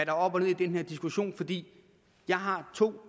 er op og ned i den her diskussion fordi jeg har to